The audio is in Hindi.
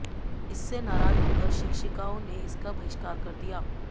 इससे नाराज होकर शिक्षिकाओं ने इसका बहिष्कार कर दिया